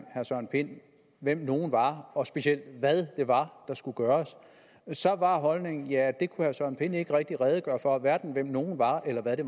herre søren pind hvem nogle var og specielt hvad det var der skulle gøres så var holdningen at det kunne herre søren pind ikke rigtig redegøre for hverken hvem nogle var eller hvad det